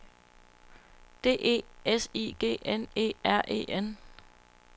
D E S I G N E R E N